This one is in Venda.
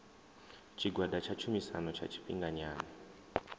tshigwada tsha tshumisano tsha tshifhinganyana